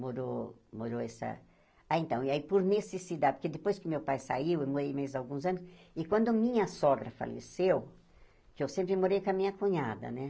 Morou, morou essa... Ah, então, e aí, por necessida, porque depois que meu pai saiu, eu morei mais alguns anos, e quando minha sogra faleceu, que eu sempre morei com a minha cunhada, né?